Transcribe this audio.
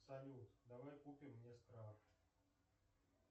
салют давай купем